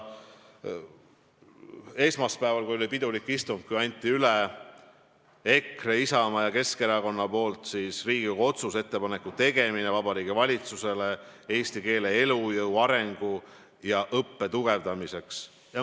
Esmaspäeval, kui oli pidulik istung, ma kuulasin huviga, kui EKRE, Isamaa ja Keskerakonna fraktsiooni nimel anti üle Riigikogu otsuse "Ettepaneku tegemine Vabariigi Valitsusele eesti keele elujõu, arengu ja õppe tugevdamiseks" eelnõu.